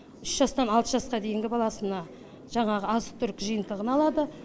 үш жастан алты жасқа дейінгі баласына жаңағы азық түлік жиынтығын алады